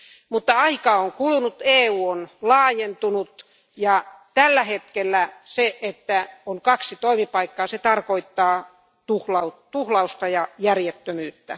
Mutta aikaa on kulunut, EU on laajentunut ja tällä hetkellä se, että on kaksi toimipaikkaa, tarkoittaa tuhlausta ja järjettömyyttä.